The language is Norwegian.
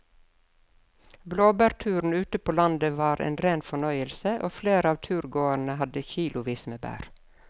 Blåbærturen ute på landet var en rein fornøyelse og flere av turgåerene hadde kilosvis med bær.